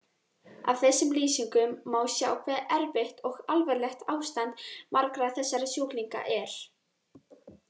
Af þessum lýsingum má sjá hve erfitt og alvarlegt ástand margra þessara sjúklinga er.